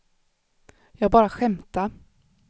jag bara skämtade